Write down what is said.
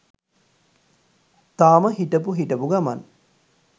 තාම හිටපු හිටපු ගමන්